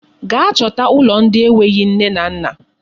Gaa chọta ụlọ ndị enweghị nne na nna.